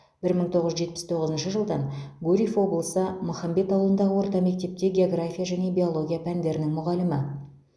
бір мың тоғыз жүз жетпіс тоғызыншы жылдан гурьев облысы махамбет ауылындағы орта мектепте география және биология пәндерінің мұғалімі